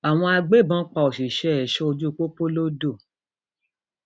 àwọn agbébọn pa òṣìṣẹ ẹṣọ ojú pópó lodò